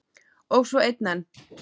Og svo einn enn.